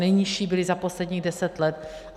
Nejnižší byly za posledních deset let.